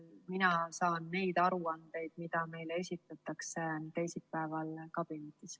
Mina saan neid aruandeid, mida meile esitatakse teisipäeval kabinetis.